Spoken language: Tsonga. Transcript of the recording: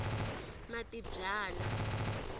matibyana